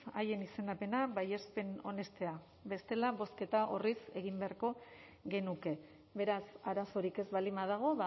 haien izendapena baiespen onestea bestela bozketa orriz egin beharko genuke beraz arazorik ez baldin badago